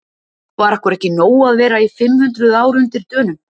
Var okkur ekki nóg að vera í fimm hundruð ár undir Dönum?